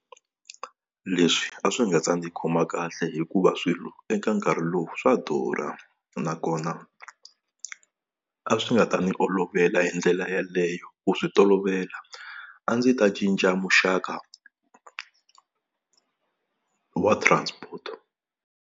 Leswi a swi nga ta ndzi khoma kahle hikuva swilo eka nkarhi lowu swa durha, nakona a swi nga ta ni olovela hi ndlela yaleyo ku swi tolovela a ndzi ta cinca muxaka wa transport.